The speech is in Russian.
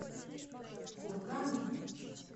кургану